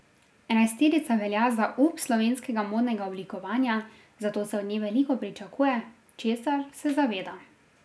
Enajsterica velja za up slovenskega modnega oblikovanja, zato se od nje veliko pričakuje, česar se zaveda.